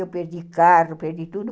Eu perdi carro, perdi tudo.